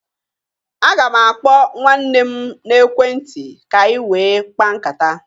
Aga m akpọ nwanne m n'ekwentị ka anyị wee kpaa nkata